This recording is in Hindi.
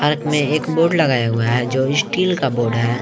पार्क एक बोर्ड लगाया हुआ है जो स्टील का बोर्ड है।